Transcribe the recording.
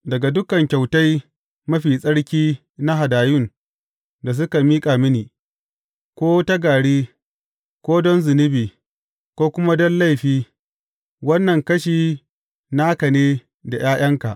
Daga dukan kyautai mafi tsarki na hadayun da suka miƙa mini, ko ta gari, ko don zunubi, ko kuma don laifi, wannan kashi naka ne da ’ya’yanka.